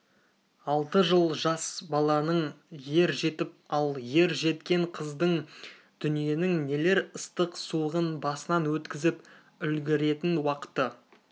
алты жыл жас баланың ер жетіп ал ер жеткен қыздың дүниенің нелер ыстық-суығын басынан өткізіп үлгіретін уақыты